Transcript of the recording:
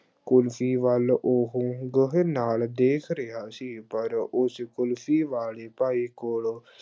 ਕੁਲਫ਼ੀ ਵੱਲ ਉਹ ਗਹੁ ਨਾਲ ਦੇਖ ਰਿਹਾ ਸੀ ਪਰ ਉਸ ਕੁਲਫ਼ੀ ਵਾਲੇ ਭਾਈ ਕੋਲੋਂ